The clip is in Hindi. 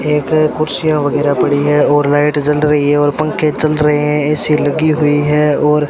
एक कुर्सियां वगैरा पड़ी हैं और लाइट जल रही है और पंखे चल रहे हैं ए_सी लगी हुई है और --